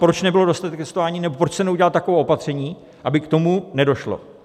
Proč nebyl dostatek testování nebo proč se neudělala taková opatření, aby k tomu nedošlo?